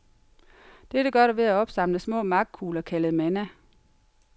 Dette gør du ved at opsamle små magtkugler kaldet manna.